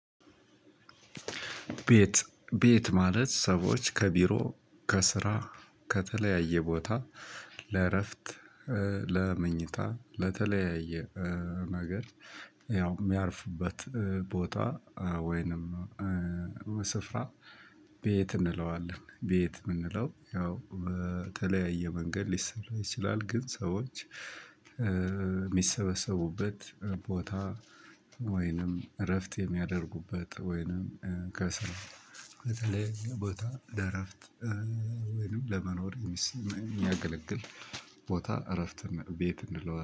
ቤት ቤት ማለት ሰዎች ከቢሮ ከስራ ከተለያየ ቦታ ለእረፍት ለመኝታ ለተለያየ ነገር ያው የሚያርፍበት ቦታ ወይንም ስፍራ። ቤት እንለዋለን ቤት የምንለው ያው በተለያየ መንገድ ሊሰራ ይችላል። ግን ሰዎች የሚሰበሰቡበት ቦታ። ወይንም እረፍት የሚያደርጉበት ወይንም ከስራ በተለያየ ቦታ ለእረፍት ወይንም ለመኖር የሚያገለግል ቦታ እረፍት ቤት እንለዋለን